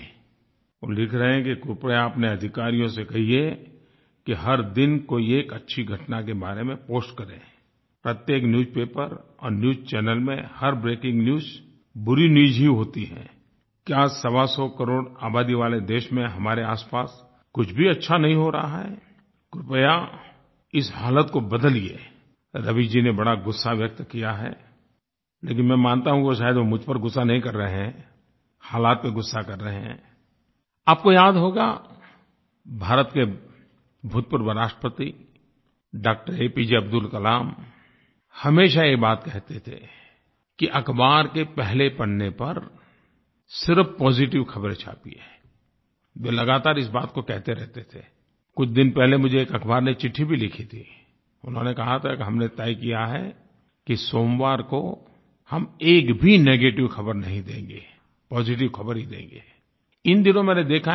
वो लिख रहे हैं कि कृपया अपने अधिकारियों से कहिए कि हर दिन कोई एक अच्छी घटना के बारे में पोस्ट करेंI प्रत्येक न्यूजपेपर और न्यूज चैनल में हर ब्रेकिंग न्यूज बुरी न्यूज ही होती हैI क्या सवासौ करोड़ आबादी वाले देश में हमारे आसपास कुछ भी अच्छा नहीं हो रहा है कृपया इस हालत को बदलिएI रवि जी ने बड़ा गुस्सा व्यक्त किया हैI लेकिन मैं मानता हूँ कि शायद वो मुझ पर गुस्सा नहीं कर रहे हैं हालात पर गुस्सा कर रहे हैंI आप को याद होगा भारत के भूतपूर्व राष्ट्रपति डॉ एपीजे अब्दुल कलाम हमेशा ये बात कहते थे कि अख़बार के पहले पन्ने पर सिर्फ़ पॉजिटिव ख़बरें छापिएI वे लगातार इस बात को कहते रहते थेI कुछ दिन पहले मुझे एक अख़बार ने चिट्ठी भी लिखी थीI उन्होंने कहा था कि हमने तय किया है कि सोमवार को हम एक भी नेगेटिव ख़बर नहीं देंगे पॉजिटिव ख़बर ही देंगेI इन दिनों मैंने देखा है कुछ tव